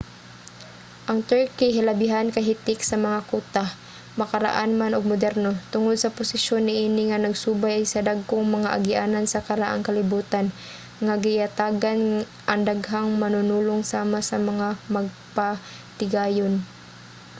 ang turkey hilabihan kahitik sa mga kuta makaraan man ug moderno tungod sa posisyon niini nga nagsubay sa dagkong mga agianan sa karaang kalibutan nga giyatagan ang daghang manunulong sama sa mga magpatigayon